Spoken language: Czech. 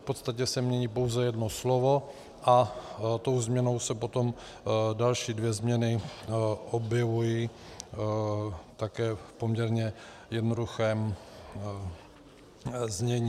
V podstatě se mění pouze jedno slovo a tou změnou se potom další dvě změny objevují také v poměrně jednoduchém znění.